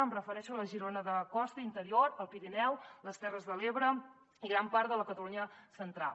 em refereixo a la girona de costa i interior el pirineu les terres de l’ebre i gran part de la catalunya central